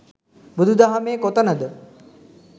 බුදු දහමේ කොතනද